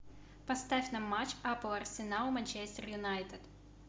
поставь нам матч апл арсенал манчестер юнайтед